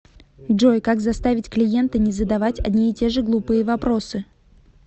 джой как заставить клиента не задавать одни и те же глупые вопросы